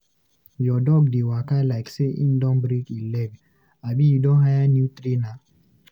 Your dog dey waka like say im don break im leg, abi you don hire new trainer?